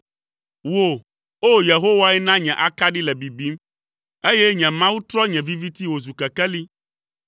Wò, O! Yehowae na nye akaɖi le bibim, eye nye Mawu trɔ nye viviti wòzu kekeli.